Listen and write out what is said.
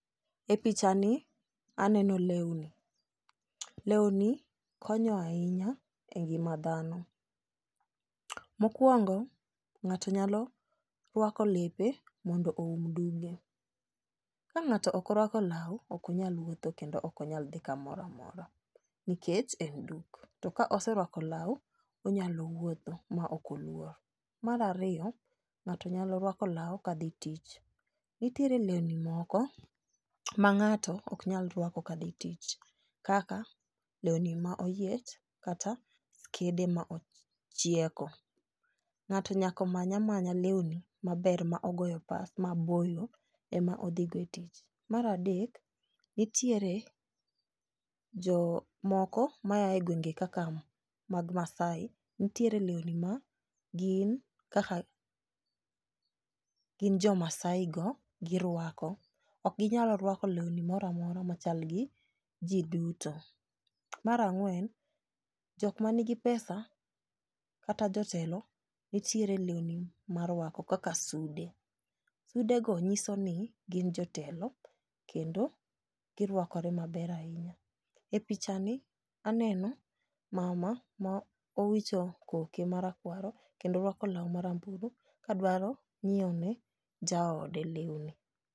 E pichani aneno leuni. Leuni konyo ainya e ngima dhano. Mokuongo ng'ato nyalo ruako lepe mondo oum duge. Ka ng'ato okoruako lau okonyal wuotho kendo okonyal dhi kamoramora nikech en duk. To ka oseruako lau onyalowuotho ma okoluor. Mar ariyo ng'ato nyalo ruako lau kadhi tich. Nitiere leuni moko ma ng'ato oknyalruako kadhi tich kaka leuni ma oyiech kata skede machieko.Ng'ato nyaka manyamanya leuni maber mogoyo pas maboyo emodhi go e tich. Mar adek nitietre jomoko maaye gwenge kaka mag Maasai .Ntiere leuni ma gin kaka gin jomasaigo girwako. Okginyal rwako leuni moramora machalgi jii duto. Mar ang'uen jokmanigi pesa kata jotelo nitiere leuni marwako kaka sude. Sudego nyisoni gin jotelo kendo girwakore maber ainya.E pichani aneno mama maowicho koke kendo orwako lau marambulu kadwaroni omii jaode leuni.